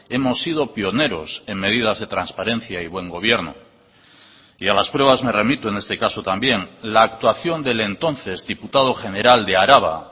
hemos sido pioneros en medidas de transparencia y buen gobierno y a las pruebas me remito en este caso también la actuación del entonces diputado general de araba